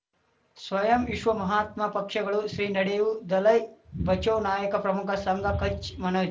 ಸ್ವಯಂ ವಿಶ್ವ ಮಹಾತ್ಮ ಪಕ್ಷಗಳು ಶ್ರೀ ನಡೆಯೂ ದಲೈ ಬಚೌ ನಾಯಕ ಪ್ರಮುಖ ಸಂಘ ಕಚ್ ಮನೋ